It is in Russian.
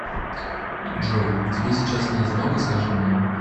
джой тебе сейчас не одиноко скажи мне